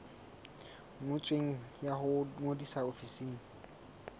ngotsweng ya ho ngodisa ofising